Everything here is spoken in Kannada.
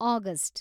ಆಗಸ್ಟ್